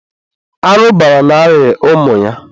arụbara na-arịa ụmụ ya.